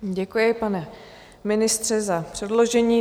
Děkuji, pane ministře, za předložení.